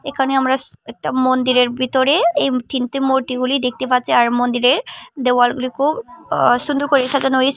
এখানে আমরা একটা মন্দিরের ভিতরে এইম তিনটে মূর্তিগুলি দেখতে পাচ্ছি আর মন্দিরের দেওয়ালগুলি খুব সুন্দর করে সাজানো হই--